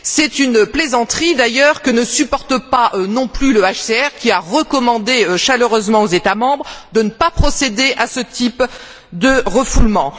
C'est une plaisanterie, que ne supporte pas non plus le HCR, qui a recommandé chaleureusement aux États membres de ne pas procéder à ce type de refoulement.